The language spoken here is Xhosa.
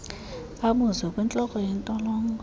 abuze kwintloko yentolongo